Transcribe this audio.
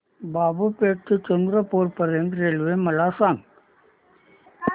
बाबूपेठ ते चंद्रपूर पर्यंत रेल्वे मला सांगा